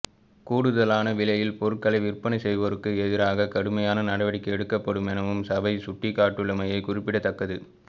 கூடுதலான விலையில் பொருட்களை விற்பனை செய்வோருக்கு எதிராக கடுமையான நடவடிக்கை எடுக்கப்படுமெனவும் சபை சுட்டிக்காட்டியுள்ளமை குறிப்பிடத்தக்கது